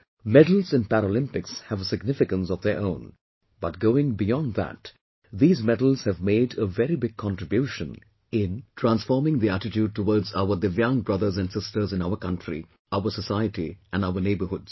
Medals in Paralympics have a significance of their own, but going beyond that these medals have made a very big contribution in transforming the attitude towards our DIVYANG brothers and sisters in our country, our society and our neighborhoods